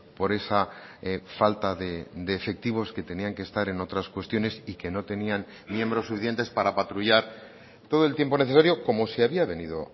por esa falta de efectivos que tenían que estar en otras cuestiones y que no tenían miembros suficientes para patrullar todo el tiempo necesario como se había venido